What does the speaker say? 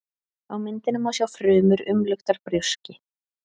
Á myndinni má sjá frumur umluktar brjóski.